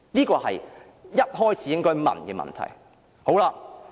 這是一開始便應提出的問題。